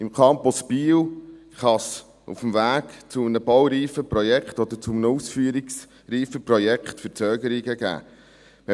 Beim Campus Biel kann es auf dem Weg zu einem baureifen Projekt oder einem ausführungsreifen Projekt Verzögerungen geben.